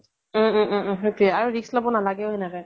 উম উম উম । সেইতোৱে আৰু risk লʼব নালাগে ও সেনেকে ।